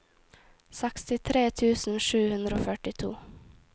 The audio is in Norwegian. sekstitre tusen sju hundre og førtito